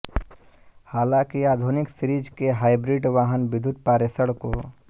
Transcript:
हालांकि आधुनिक सीरीज के हाइब्रिड वाहन विद्युत पारेषण को